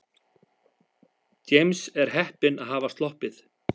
James er heppinn að hafa sloppið.